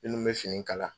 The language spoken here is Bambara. Minnu bɛ fini kala